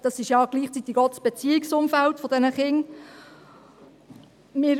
Dies ist ja gleichzeitig das Beziehungsumfeld dieser Kinder.